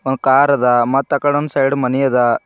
ಒಂದ್ ಕಾರ್ ಅದ ಮತ್ ಆಕಡೆ ಒಂದ್ ಸೈಡ್ ಮನೆ ಅದ.